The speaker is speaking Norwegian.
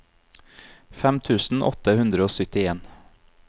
fem tusen åtte hundre og syttien